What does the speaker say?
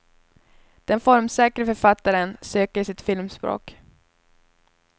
Den formsäkre författaren söker sitt filmspråk.